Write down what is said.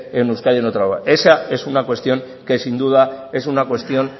en euskadi en otra lugar esa es una cuestión que sin duda es una cuestión